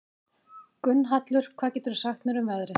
Gunnhallur, hvað geturðu sagt mér um veðrið?